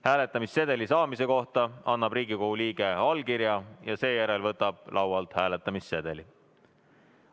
Hääletamissedeli saamise kohta annab Riigikogu liige allkirja ja seejärel võtab laualt hääletamissedeli.